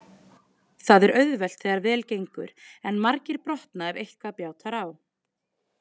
Það er auðvelt þegar vel gengur en margir brotna ef eitthvað bjátar á.